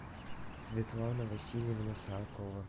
светлана васильевна саакова